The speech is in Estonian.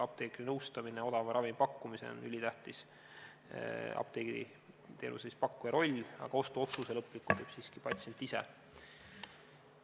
Apteekri nõustamine ja apteegiteenuse pakkuja roll odava ravimi pakkumisel on ülitähtis, kuid lõpliku ostuotsuse teeb siiski patsient ise.